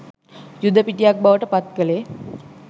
යුද පිටියක් බවට පත් කළේ